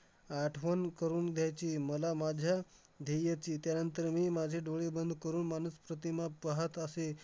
आठवण करून द्यायची मला माझ्या ध्येयाची. त्यानंतर मी माझे डोळे बंद करून मानस प्रतिमा पाहत असे.